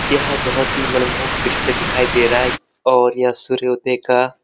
यह बहुत ही मनमोहक दृश्य दिखाई दे रहा है और यह सूर्योदय का --